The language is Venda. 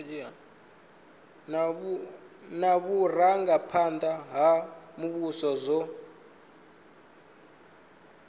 na vhurangaphanda ha muvhuso zwo